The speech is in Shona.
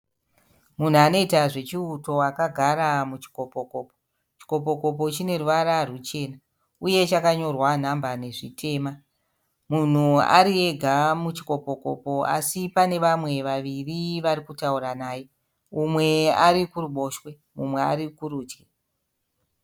Munhu anoita zvechiuto ari muchikopokopo. Chikopokopo chine ruvara ruchena uye chakanyorwa nhamba nezvitema. Munhu ari ega muchikopokopo asi pane vamwe vaviri vari kutaura naye, umwe ari kuruboshwe umwe ari kurudyi